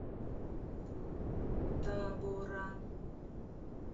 табора